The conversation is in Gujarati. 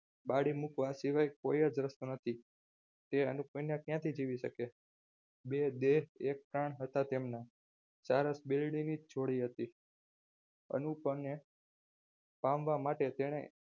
બાળી મૂકવા સિવાય કોઈ જ રસ્તો નથી તે અનુપ વિના ક્યાંથી જીવી શકે બે દે એક કણ હતા ત્યારે સારસ બિલ્ડીંગની છોડી હતી અનુપમને પામવા માટે તેણે